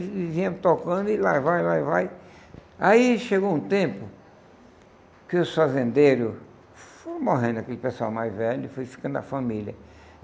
E vinha me tocando, e lá vai, lá vai... Aí chegou um tempo que os fazendeiros foram morrendo, aquele pessoal mais velho, e foi ficando a família.